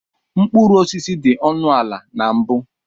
Mkpụrụ osisi dị ọnụ ala na mbu.